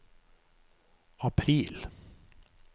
april